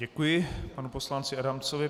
Děkuji panu poslanci Adamcovi.